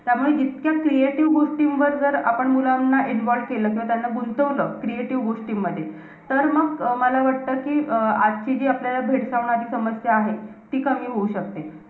त्यामुळे जितक्या creative गोष्टींवर जर आपण मुलांना involved केलं. किंवा त्यांना गुंतवलं, creative गोष्टींमध्ये. तर मग अं मला वाटतं, कि अं आजची जी आपल्याला भेडसावणारी समस्या आहे. ती कमी होऊ शकते.